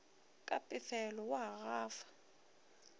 ka pefelo o a gafa